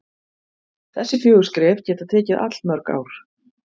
Þessi fjögur skref geta tekið allmörg ár.